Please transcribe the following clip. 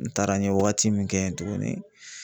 N taara n ye waagati min kɛ yen tugunni.